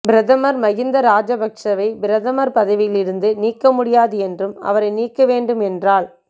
பிரதமர் மஹிந்த ராஜபக்ஷவை பிரதமர் பதவியில் இருந்து நீக்க முடியாது என்றும் அவரை நீக்க வேண்டும் என்றால்